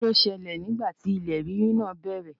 Kí ni ó ṣẹlẹ̀ nígbà ti ilẹ̀ rírì náà bẹ̀rẹ̀?